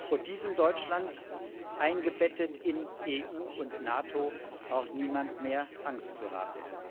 Vor diesem Deutschland, eingebettet in EU und NATO, braucht niemand mehr Angst zu haben.